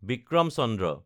Vikram Chandra